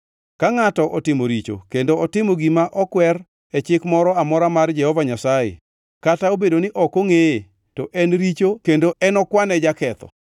“Ka ngʼata otimo richo kendo otimo gima okwer e chik moro amora mar Jehova Nyasaye, kata obedo ni ok ongʼeye, to en richo kendo en okwane jaketho.